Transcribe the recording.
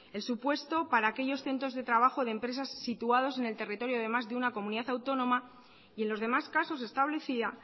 el supuesto para aquellos centros de trabajo de empresas situados en el territorio de más de una comunidad autónoma y en los demás casos establecía